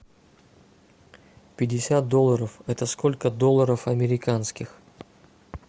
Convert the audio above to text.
пятьдесят долларов это сколько долларов американских